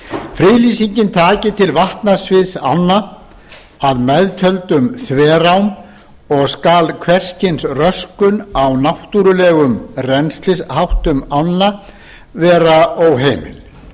friðlýsingin taki til vatnasviðs ánna að meðtöldum þverám og skal hvers kyns röskun á náttúrulegum rennslisháttum ánna vera óheimil